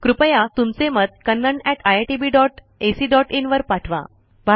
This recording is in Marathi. कृपया तुमचे मत kannaniitbacin वर पाठवा